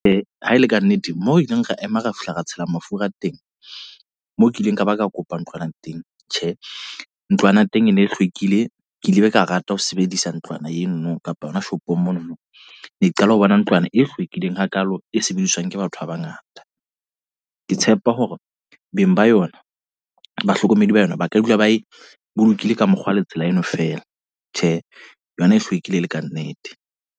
Ha ele ka nnete, mmoho ileng ra ema ra fihla ra tshela mafura a teng. Mo kileng ka ba ka kopa ntlwana teng. Tjhe, ntlwana teng e ne e hlwekile. Ke ile ka rata ho sebedisa ntlwana eno kapa yona shopong mono, mo ne ke qala ho bona ntlwana e hlwekileng hakalo e sebediswang ke batho ba bangata. Ke tshepa hore beng ba yona bahlokomedi ba yona ba ka dula ba e bolokile ka mokgwa le tsela eno fela. Tjhe, yona e hlwekile le ka nnete.